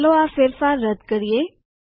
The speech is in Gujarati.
ચાલો આ ફેરફાર રદ કરીએ